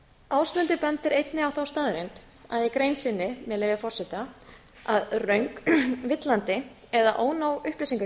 ásmundur bendir einnig á þá staðreynd að í grein sinni með leyfi forseta að röng villandi eða ónóg upplýsingagjöf